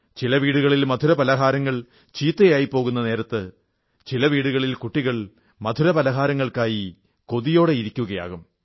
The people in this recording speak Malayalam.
ചില വീടുകളിൽ മധുരപലഹാരങ്ങൾ ചീത്തയായി പോകുന്ന നേരത്ത് ചില വീടുകളിൽ കുട്ടികൾ മധുരപലഹാരങ്ങൾക്കായി കൊതിക്കുയാകും